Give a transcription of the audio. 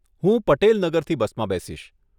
હું પટેલ નગરથી બસમાં બેસીશ.